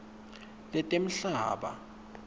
letemhlaba